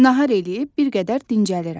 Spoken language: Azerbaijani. Nahar eləyib bir qədər dincəlirəm.